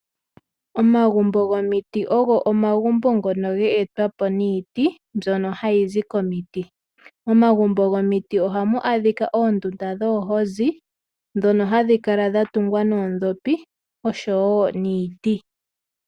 Omagumbo gomiti ogo omagumbo ngoka ga etwapo niiti mbyoka hayi zi komiti. Momagumbo gomiti ohamu adhika oondunda dhoohozi ndhoka hadhi kala dha tungwa noondhopi osho wo niiti.